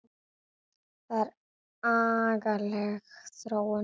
Það er agaleg þróun.